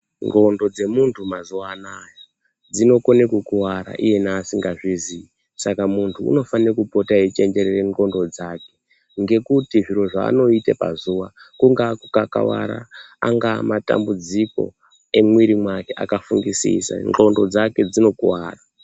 Ndxondo dzemuntu mazuva anaya dzinokone kukuwara iyena asingazviziyi saka muntu unofana kupota eichenjerere ndxondo dzake ngekuti zviro zvaanoita pazuwa kungawa kukakavara angava matambudziko emwiri mwake akafungisisa ndxondo dzake dzinokuwara.